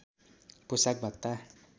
पोशाक भत्ता